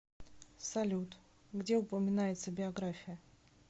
салют где упоминается биография